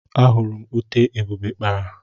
Ahuru m ute Ebube kpara.